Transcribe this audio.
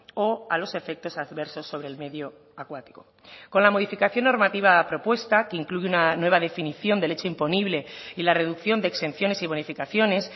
o a los efectos adversos sobre el medio acuático con la modificación normativa propuesta que incluye una nueva definición del hecho imponible y la reducción de exenciones y bonificaciones